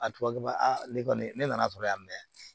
A tubabu b'a ne kɔni ne nana sɔrɔ yan mɛ